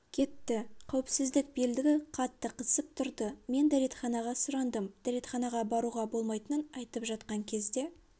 кетті қауіпсіздік белдігі қатты қысып тұрды мен дәретханаға сұрандым дәретханаға баруға болмайтынын айтып жатқан кезде